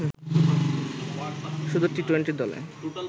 শুধু টি-টোয়েন্টি দলে